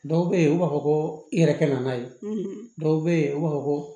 Dɔw bɛ yen u b'a fɔ ko i yɛrɛ kɛ na n'a ye dɔw bɛ yen u b'a fɔ ko